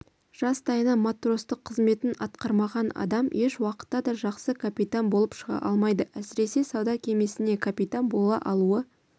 жастайынан матростық қызметін атқармаған адам ешуақытта да жақсы капитан болып шыға алмайды әсіресе сауда кемесіне капитан бола алуы